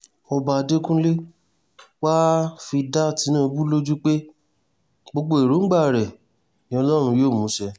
ọba adẹ́kúnlẹ̀ wàá fi dá tinubu lójú pé gbogbo èròǹgbà rẹ ni ọlọ́run yóò mú ṣẹ